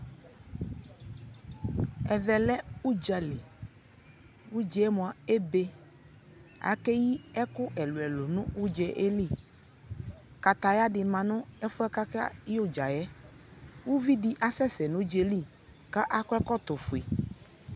Ɛvɛ lɛ udza lι Udza yɛ mua ebe Akeyi ɛkɛ ɛluɛlu nʋ udza yɛ lι Kakaya dι ma nʋ ɛfu yɛ kʋ akayɛ udza yɛ Uvi dι asɛsɛ nʋ udza yɛ lι kʋ akɔ ɛkɔtɔ fue